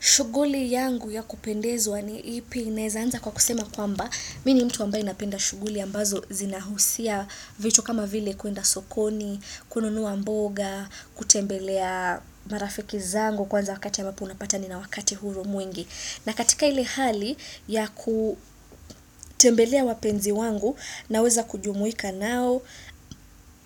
Shughuli yangu ya kupendezwa ni ipi naeza anza kwa kusema kwamba, mi ni mtu ambaye napenda shughuli ambazo zinahusia vitu kama vile kuenda sokoni, kununua mboga, kutembelea marafiki zangu kwanza wakati ya ambapo unapata nina wakati huru mwingi. Na katika ile hali ya kutembelea wapenzi wangu naweza kujumuika nao,